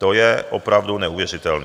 To je opravdu neuvěřitelné,